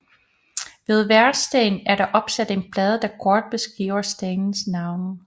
Ved hver sten er der opsat en plade der kort beskriver stenens navn